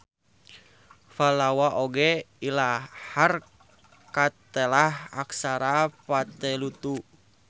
Pallawa oge ilahar katelah aksara Vatteluttu.